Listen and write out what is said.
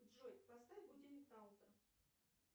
джой поставь будильник на утро